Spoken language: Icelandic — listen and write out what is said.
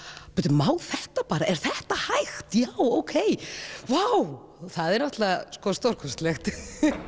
má þetta bara er þetta hægt já ókei vá það er náttúrulega stórkostlegt